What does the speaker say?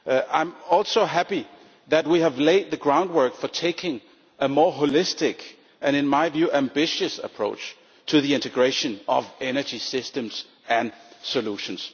I am also happy that we have laid the groundwork for taking a more holistic and, in my view, ambitious approach to the integration of energy systems and solutions.